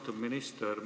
Austatud minister!